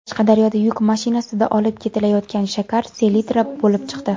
Qashqadaryoda yuk mashinasida olib ketilayotgan shakar selitra bo‘lib chiqdi.